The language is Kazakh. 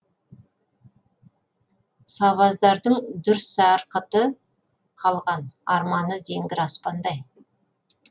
сабаздардың дүр сарқыты қалған арманы зеңгір аспандай